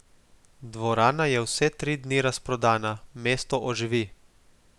Dvorana je vse tri dni razprodana, mesto oživi.